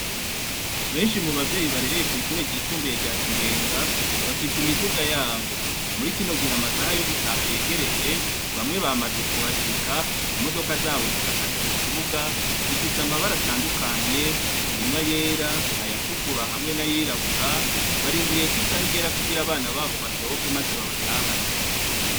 Benshi mu babyeyi barereye kwishure ryisumbuye rya kibenga bafise imiduga yabo, muri kino gihe amasaha yo gutaha yegereje bamwe bamaze kuhashika imodoka zabo zihagaze mu kibuga zifise amabara atandukanye harimwa ayera ayatukura hamwe n'ayirabura barindiriye ko isaha igera kugira abana babo basohoke maze babatahane.